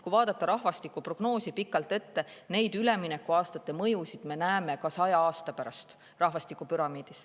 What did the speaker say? Kui vaadata rahvastikuprognoosi pikalt ette, siis üleminekuaastate mõjusid me näeme ka saja aasta pärast rahvastikupüramiidis.